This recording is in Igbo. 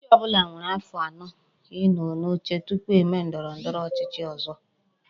Ochichi obula nwere afo ano I no n'oche tupu eme ndoro ndoro ochichi ozo